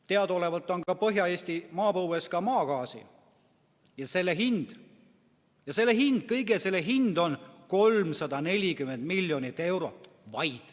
Teadaolevalt on Põhja-Eesti maapõues ka maagaasi ja selle kõige hind on 340 miljonit eurot.